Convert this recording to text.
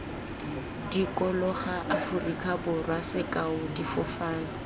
dikologa aforika borwa sekao difofane